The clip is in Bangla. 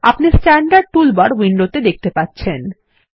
আপনি স্ট্যান্ডার্ড টুলবার উইন্ডোতে দেখতে পাচ্ছেন